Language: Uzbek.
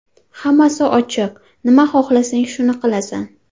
Hammasi ochiq, nima xohlasang, shuni qilasan.